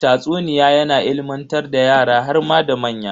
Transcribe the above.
Tatsuniya yana ilimantar da yara harma da manya.